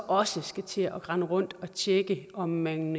også skal til at rende rundt og tjekke om man